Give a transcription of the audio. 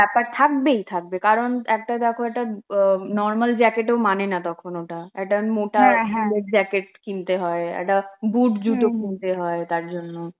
ব্যাপার থাকবেই থাকবে, কারণ একটা দেখো একটা অ normal jacket এও মানে না তখন ওটা, একটা মোটা wool এর jacket কিনতে হয়, একটা boot জুতো কিনতে হয় তার জন্য.